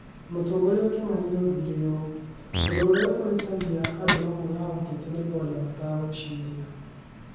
Mũtongoria Kimani oigire ũũ: "Ũndũ ũrĩa ũhĩtagia andũ amwe a ũteti nĩ kwaria matekwĩciria.